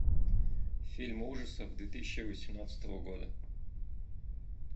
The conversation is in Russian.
фильм ужасов две тысячи восемнадцатого года